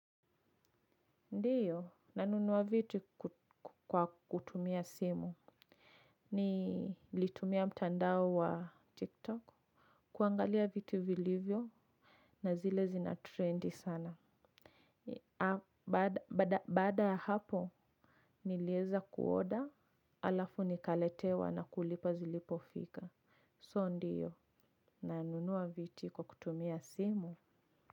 Ndiyo nanunua viti kwa kutumia simu ni litumia mtandao wa tiktok kuangalia viti vilivyo na zile zina trend sana baada baada ya hapo nilieza kuoda alafu nikaletewa na kulipa zilipofika so ndiyo nanunua viti kwa kutumia simu.